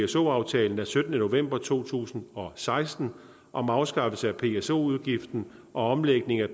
pso aftalen af syttende november to tusind og seksten om afskaffelse af pso udgiften og omlægning af